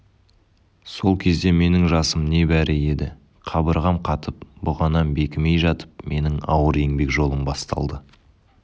сол кезде менің жасым небәрі еді қабырғам қатып бұғанам бекімей жатып менің ауыр еңбек жолым басталды